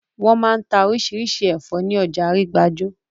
Wọ́n máa n ta orísirísi àwọn ẹ̀fọ́ ní ọjà Arígbájó